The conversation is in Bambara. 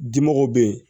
Dimɔgɔw be yen